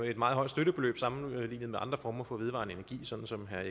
et meget højt støttebeløb sammenlignet med andre former for vedvarende energi sådan som herre